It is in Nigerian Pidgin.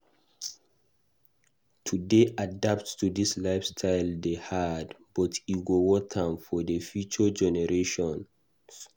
To dey adapt to lifestyle dey hard, but e go worth am for future generations.